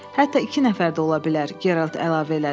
Hətta iki nəfər də ola bilər, Gerald əlavə elədi.